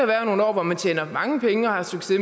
være nogle år hvor man tjener mange penge og har succes